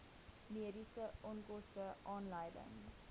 mediese onkoste aanleiding